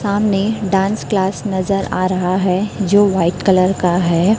सामने dance class नजर आ रहा है जो वाइट कलर का है।